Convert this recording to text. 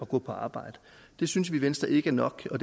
gå på arbejde det synes vi i venstre ikke er nok og